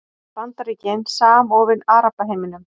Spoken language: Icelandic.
Bandaríkin samofin Arabaheiminum